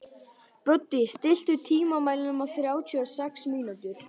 Böddi, stilltu tímamælinn á þrjátíu og sex mínútur.